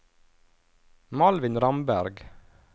Malvin Ramberg